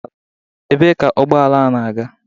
Ebee ka ụgbọala a na-aga?